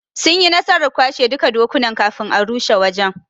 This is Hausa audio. Sunyi nasarar kwashe duka dokunan kafin a rushe wajen '.